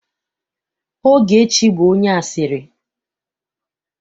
Ogechi bụ onye asịrị.